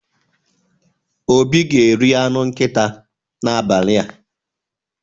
Obi ga-eri anụ nkịta n'abalị a.